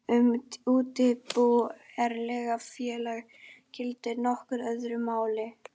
Um útibú erlendra félaga gildir nokkuð öðru máli.